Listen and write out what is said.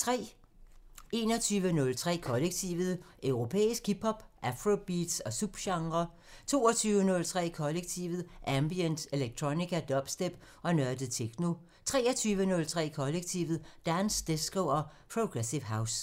21:03: Kollektivet: Europæisk hip hop, afrobeats og subgenrer 22:03: Kollektivet: Ambient, electronica, dubstep og nørdet techno 23:03: Kollektivet: Dance, disco og progressive house